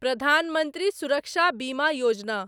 Pradhan Mantri Suraksha Bima Yojana